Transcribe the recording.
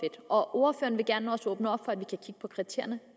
og ordføreren vil også gerne åbne op for at vi kan kigge på kriterierne